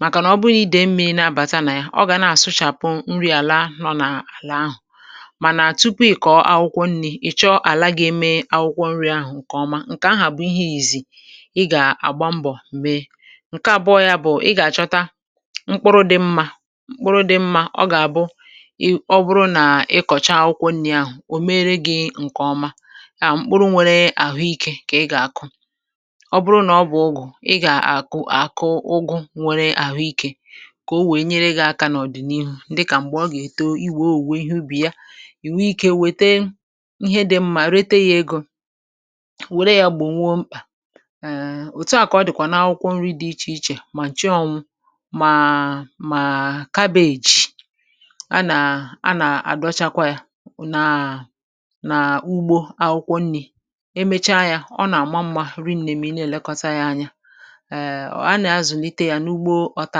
màkànà ọ bụnyị dị̀ mmi̇ nà-abàta nà ya, ọ gà na-àsụchàpụ nri àlà nọ nà àlà ahụ̀. Mànà tupu ị̀ kọ̀ọ akwụkwọ nri̇ ị̀ chọọ àla gà-eme akwụkwọ nri̇ ahụ̀ ǹkè ọma, ǹkè ahụ̀ bụ̀ ihe ìzì ị gà-àgba mbọ̀ mee, ǹke àbụọ ya bụ̀ ị gà-àchọta mkpụrụ dị mmȧ mkpụrụ dị mmȧ ọ gà àbụ ị ọ bụrụ nà ị kọ̀chaa akwụkwọ nrị̇ ahụ̀ ò mere gị̇ ǹkè ọma, à mkpụrụ nwere àhụikė kà ị gà àkụ. Ọ bụrụ nà ọ bụ̀ ụgụ̀ ị gà àkụ àkụ ụgụ̇ nwere àhụikė kà o wèe nyere gị̇ aka n’ọ̀dị̀niihu, ǹdị kà m̀gbè ọ gà èto iwėowùwe ihe ubì ya, ì wèe ikė wète ihe dị mmȧ rète ya egȯ, wère yȧ gbò nwo mkpà um otu à kà ọ dị̀kwà n’akwụkwọ nrị̇ dị ichè ichè, mà chị ọṅụ̇ mà mà kabeeji anà anà-àdọchakwa ya nà nà ugbo akwụkwọ nri̇, ebe ahù emechaa ya ọ nà-àma mma rienne nà-ème ịnȧ èlekọta ya anya um ọ anà-azụ̀nịte ya n’ugbo ọta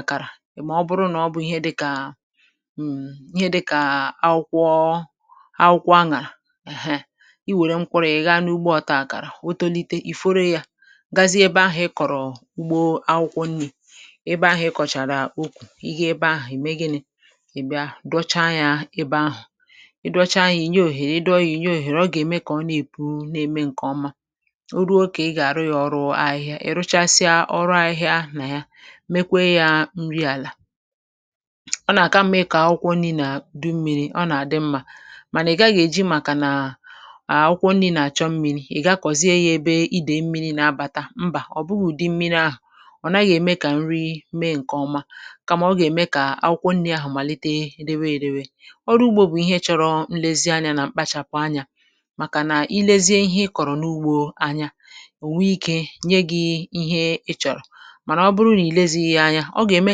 àkàrà, mà ọ bụrụ nà ọ bụ̀ ihe dịkà um ihe dịkà akwụkwọ akwụkwọ aṅàrà um iwère m kwụrụ ya ị̀ghà n’ugbo ọta àkàrà o tolite ì foro ya gazie ebe ahụ̀ ị kọ̀rọ̀ ugbo akwụkwọ nri, ebe ahù ị kọ̀chara ịkù, ị ga-ebe ahù e mee gini? e bia dọchaa yȧ ebe ahụ̀, ị dọchaa yȧ ìnyè òhèrè ị dọọ yȧ ìnyè òhèrè ọ gà-ème kà ọ na-èpu na-eme ǹkè ọma, oru okè ị gà-àrụ yȧ ọrụ ahịhịa, ị rụchasịa ọrụ ahịhịa nà ya mekwe yȧ nri àlà. Ọ nà-àka mma ịkọ̀ akwụkwọ nri̇ nà du mmiri̇ ọ nà-àdị mmȧ, mànà ị̀ gaghị̇ èji màkà nà à akwụkwọ nri̇ nà-àchọ mmiri̇ ị̀ gakọ̀zie yȧ ebe idèi mmiri̇ nà-abàta, mbà, ọ̀ bụghị̇ di mmiri ahụ̀ ọ naghị̀ ème kà nri mee ǹkè ọma kàmà ọ gà-ème kà akwụkwọ nri̇ ahụ̀ màlite rėrė erewe, ọrụ ugbȯ bụ̀ ihe chọrọ nlezianya nà mkpachàpụ̀ anya màkà nà ilėzie ihe ị kọ̀rọ̀ n’ugbȯ anya ònwe ikė nye gị̇ ihe ị chọ̀rọ̀, mànà ọ bụrụ nà ilėzighi ya anya ọ gà-ème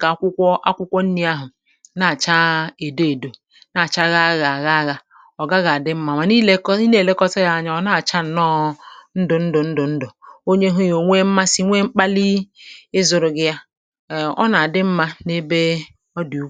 kà akwụkwọ akwụkwọ nri̇ ahụ̀ na-àcha èdo èdò na-àcha ghàgha ghàgha ọ̀ gaghị àdị mmȧ mànà èlekọ ị nà-èlekọta yȧ anya ọ̀ na-àcha ǹnọọ̇ ndụ̀ ndụ̀ ndụ̀ ndụ̀ onye hu ya o nwee mmasi, nwee mkpali ịzụ̇rụ̇ gị ya um ọ na-adi mma n’ebe ọ dị̀ ụkọ̀.